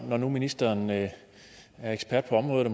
når nu ministeren er ekspert på området